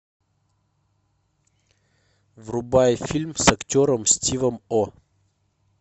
врубай фильм с актером стивом о